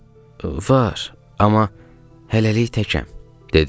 Var, amma hələlik təkəm, dedim.